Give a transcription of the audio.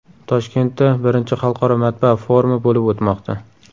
Toshkentda I Xalqaro matbaa forumi bo‘lib o‘tmoqda.